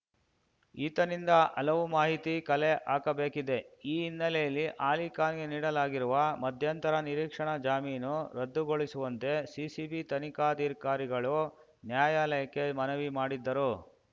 ಈತನಿಂದ ಹಲವು ಮಾಹಿತಿ ಕಲೆ ಹಾಕಬೇಕಿದೆ ಈ ಹಿನ್ನೆಲೆಯಲ್ಲಿ ಅಲಿಖಾನ್‌ಗೆ ನೀಡಲಾಗಿರುವ ಮಧ್ಯಂತರ ನಿರೀಕ್ಷಣಾ ಜಾಮೀನು ರದ್ದುಗೊಳಿಸುವಂತೆ ಸಿಸಿಬಿ ತನಿಖಾಧಿಕಾರಿಗಳು ನ್ಯಾಯಾಲಯಕ್ಕೆ ಮನವಿ ಮಾಡಿದ್ದರು